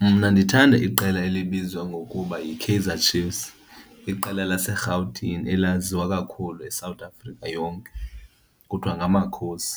Mna ndithanda iqela elibizwa ngokuba yiKaizer Chiefs. Iqela laseRhawutini elaziwa kakhulu yiSouth Africa yonke kuthiwa ngamaKhosi.